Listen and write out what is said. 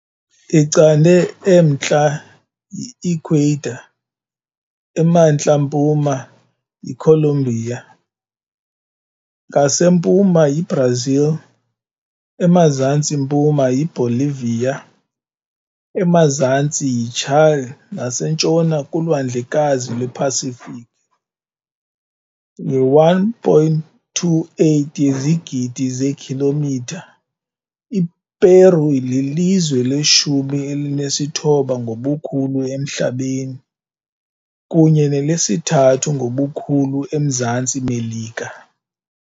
Icande emntla yi Ecuador, emantla mpuma yiColombia, ngasempuma yiBrazil, emazantsi mpuma yiBolivia, emazantsi yiChile nasentshona kuLwandlekazi lwePasifiki . Nge-1.28 yezigidi zeekhilomitha, iPeru lilizwe leshumi elinesithoba ngobukhulu emhlabeni, kunye nelesithathu ngobukhulu eMzantsi Melika.